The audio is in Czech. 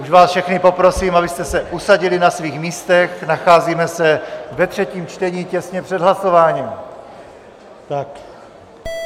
Už vás všechny poprosím, abyste se usadili na svých místech, nacházíme se ve třetím čtení těsně před hlasováním.